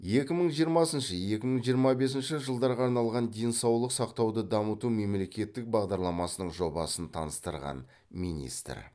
екі мың жиырмасыншы екі мың жиырма бесінші жылдарға арналған денсаулық сақтауды дамыту мемлекеттік бағдарламасының жобасын таныстырған министр